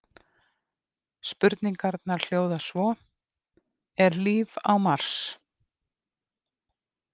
Spurningarnar hljóða svo: Er líf á Mars?